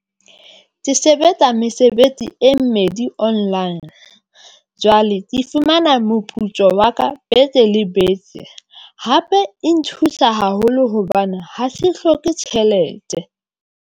Ke sebetsa mesebetsi e mmedi online jwale ke fumana moputso wa ka beke le beke hape e nthusa haholo hobane ha se hloke tjhelete.